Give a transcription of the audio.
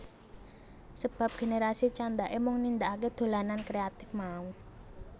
Sebab generasi candhake mung nindakake dolanan kreatif mau